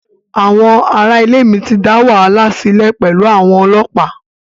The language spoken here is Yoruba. Àwọn ará ilé mi ti dá wàhálà sílẹ̀ pẹ̀lú àwọn ọlọ́pàá.